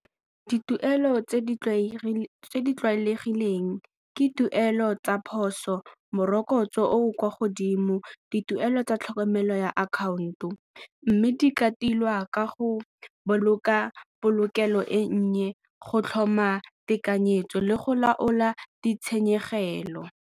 Dituelo tse di tlwaelegileng tse ke tuelo tsa phoso, morokotso o o kwa godimo, dituelo tsa tlhokomelo ya account-o mme di ka tilwa ka go boloka polokelo e nnye, go tlhoma tekanyetso le go laola ditshenyegelo.